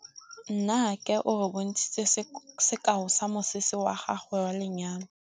Nnake o re bontshitse sekaô sa mosese wa gagwe wa lenyalo.